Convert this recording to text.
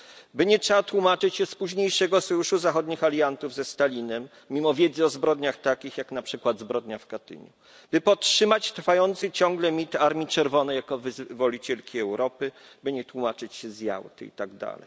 By nie trzeba tłumaczyć się z późniejszego sojuszu zachodnich aliantów ze Stalinem mimo wiedzy o zbrodniach takich, jak na przykład zbrodnia w Katyniu, by podtrzymać trwający ciągle mit Armii Czerwonej jako wyzwolicielki Europy, by nie tłumaczyć się z Jałty itd.